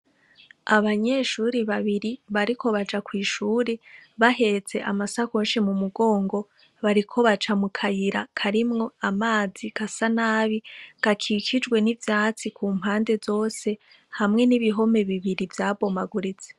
Abanyeshuri babiri bariko baja kwishuri bahetse amasakoshi mu mugongo bariko baca mu kayira karimwo amazi gasa nabi gakikijwe n' ivyatsi ku mpande zose hamwe n' ibihome bibiri vyabomaguritse.